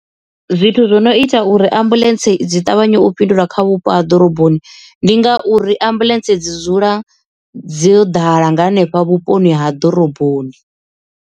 Zwithu zwo no ita uri ambuḽentse dzi ṱavhanye u fhindula kha vhupo ha ḓoroboni ndi ngauri ambuḽentse dzi dzula dzo ḓala nga hanefha vhuponi ha ḓoroboni.